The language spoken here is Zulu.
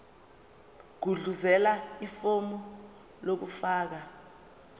gudluzela ifomu lokufaka